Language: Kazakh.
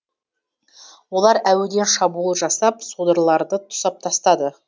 олар әуеден шабуыл жасап содырларды тұсап тастады